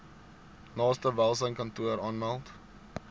naaste welsynskantoor aanmeld